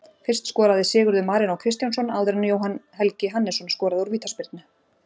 Fyrst skoraði Sigurður Marínó Kristjánsson áður en Jóhann Helgi Hannesson skoraði úr vítaspyrnu.